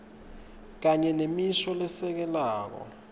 kanye nemisho lesekelako